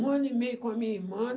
Um ano e meio com a minha irmã.